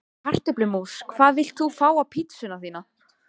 Kartöflumús Hvað vilt þú fá á pizzuna þína?